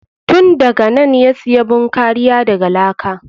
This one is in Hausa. Tun daganan ya siya bun kariya daga laka.